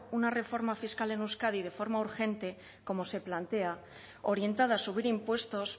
una reforma fiscal en euskadi de forma urgente como se plantea orientada a subir impuestos